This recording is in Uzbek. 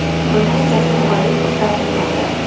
Buni Jasur G‘oyipov rad etmoqda.